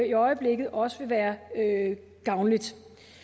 i øjeblikket også vil være gavnligt